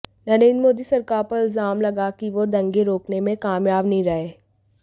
नरेंद्र मोदी सरकार पर इल्जाम लगा कि वो दंगे रोकने में कामयाब नहीं रहे